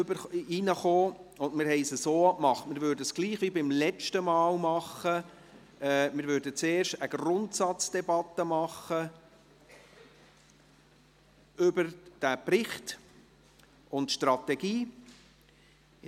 Wir haben Folgendes abgemacht: Wir würden gleich wie beim letzten Mal vorgehen und zuerst eine Grundsatzdebatte über den Bericht und die Strategie führen;